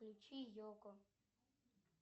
включи йоко